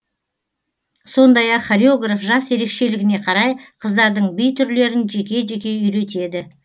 сондай ақ хореграф жас ерекешелігіне қарай қыздардың би түрлерін жеке жеке үйретеді